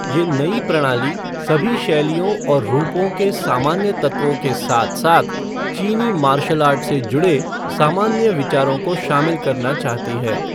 ये नई प्रणाली सभी शैलियों और रूपों के सामान्य तत्वों के साथ साथ चीनी मार्शल आर्ट से जुड़े सामान्य विचारों को शामिल करना चाहती है।